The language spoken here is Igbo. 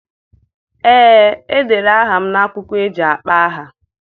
Ee, e dere aha m n'akwụkwọ eji akpọ aha.